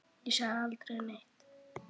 Ég sagði aldrei neitt.